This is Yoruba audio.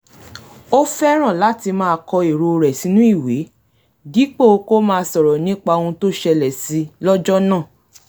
ó fẹ́ràn láti máa kọ èrò rẹ̀ sínú ìwé dípò kó máa sọ̀rọ̀ nípa ohun tó ṣẹlẹ̀ si lọ́jọ́ náà